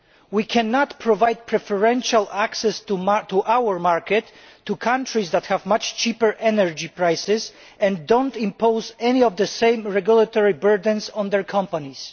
We cannot provide preferential access to our market to countries that have much cheaper energy prices and do not impose any of the same regulatory burdens on their companies.